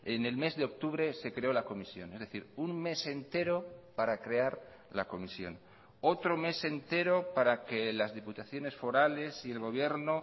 en el mes de octubre se creó la comisión es decir un mes entero para crear la comisión otro mes entero para que las diputaciones forales y el gobierno